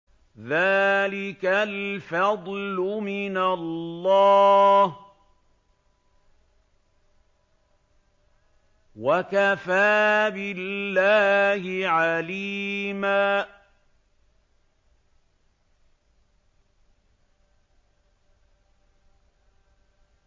ذَٰلِكَ الْفَضْلُ مِنَ اللَّهِ ۚ وَكَفَىٰ بِاللَّهِ عَلِيمًا